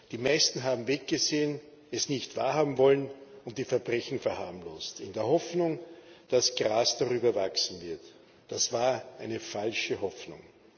Die meisten haben weggesehen, es nicht wahrhaben wollen und die Verbrechen verharmlost, in der Hoffnung, dass Gras darüber wachsen wird. Das war eine falsche Hoffnung.